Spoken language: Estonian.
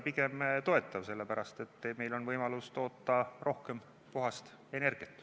Pigem toetav, sellepärast et meil on võimalus toota rohkem puhast energiat.